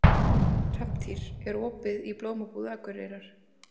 Hrafntýr, er opið í Blómabúð Akureyrar?